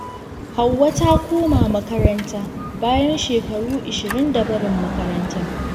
Hauwa ta koma makaranta bayan shekaru 20 da barin makarantar.